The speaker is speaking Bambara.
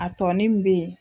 A tɔɔni min bɛ yen.